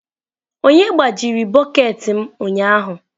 Onye gbajiri bọket m ụnyahụ?